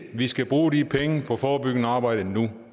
vi skal bruge de penge på forebyggende arbejde nu